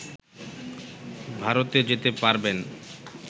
ভারতে যেতে পারবেন